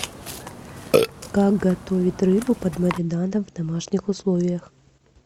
как готовить рыбу под маринадом в домашних условиях